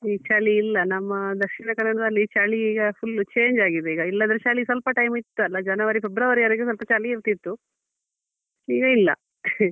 ಈಗ ಚಳಿ ಇಲ್ಲ ನಮ್ಮ ದಕ್ಷಿಣ ಕನ್ನಡದಲ್ಲಿ ಚಳಿ ಈಗ full change ಆಗಿದೆ ಈಗ ಇಲ್ಲಾದ್ರೆ ಚಳಿ ಸ್ವಲ್ಪ time ಇತ್ತಲ್ಲ January, February ವರೆಗೆ ಸ್ವಲ್ಪ ಚಳಿ ಇರ್ತಿತ್ತು ಈಗ ಇಲ್ಲ .